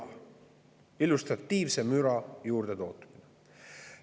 See on illustratiivse müra juurdetootmine.